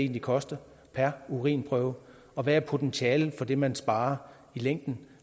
vil koste per urinprøve og hvad potentialet er for det man sparer i længden